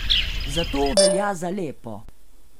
Zato velja za lepo.